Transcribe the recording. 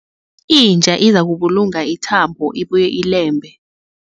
Inja izakubulunga ithambo ibuye ilembe.